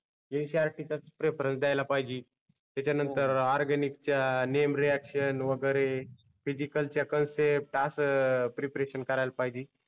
NCERT चाच reference द्यायला पाहिजे त्याच्या नंतर ऑरगॅनिक च्या नेम रिऍक्शन वगेरे फिसिकलच्या कन्सेप्ट अस प्रिपरेशन करायला पाहिजे